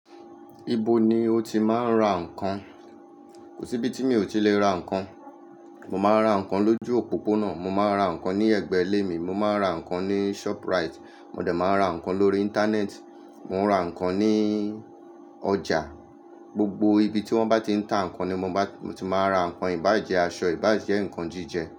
Ibo ni o ti máa ń ra nǹkan? Kò sí ibi tí mi ò ti lè ra nǹkan. Mo máa ń ra nǹkan lójú òpópónà, mo máa ń ra nǹkan ní ẹ̀gbẹ́ ilé mi, mo máa ń ra nǹkan ní shoprite, mo dẹ̀ máa ń ra nǹkan lórí íńtánẹ́ẹ̀tì, mo ń ra nǹkan ní ọjà. Gbogbo ibi tí wọ́n bá ti ń ta nǹkan ni mo bá, mo ti máa ra nǹkan, ìbáà jẹ́ aṣọ, ìbáà jẹ́ nǹkan jíjẹ.